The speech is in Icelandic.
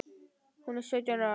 Hún er sautján ára.